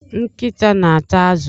Nkịta na-ata azụ.